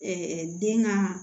den ka